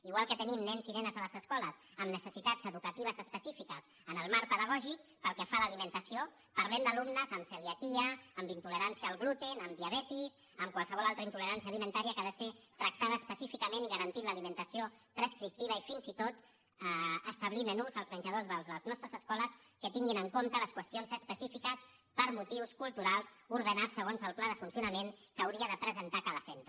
igual que tenim nens i nenes a les escoles amb necessitats educatives específiques en el marc pedagògic pel que fa a l’alimentació parlem d’alumnes amb celiaquia amb intolerància al gluten amb diabetis amb qualsevol altra intolerància alimentària que ha de ser tractada específicament i garantint l’alimentació prescriptiva i fins i tot establir menús als menjadors de les nostres escoles que tinguin en compte les qüestions específiques per motius culturals ordenat segons el pla de funcionament que hauria de presentar cada centre